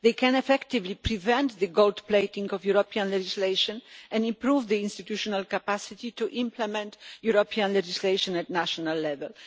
They can effectively prevent the gold plating of European legislation and improve the institutional capacity to implement European legislation at national level.